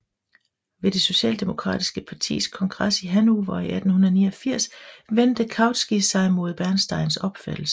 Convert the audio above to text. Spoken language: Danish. Ved det socialdemokratiske partis kongres i Hannover i 1889 vendte Kautsky sig mod Bernsteins opfattelse